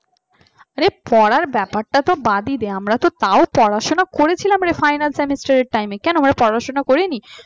আরে পড়ার ব্যাপারটা বাদই দে আমরা তো তাও পড়াশোনা করেছিলাম রে final semester time এ কেন আমরা পড়াশোনা করিনি